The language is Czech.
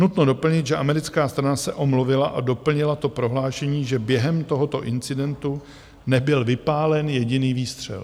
Nutno doplnit, že americká strana se omluvila a doplnila to prohlášením, že během tohoto incidentu nebyl vypálen jediný výstřel.